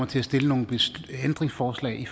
til at stille nogle ændringsforslag